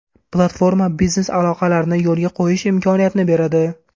Platforma biznes aloqalarini yo‘lga qo‘yish imkoniyatini beradi.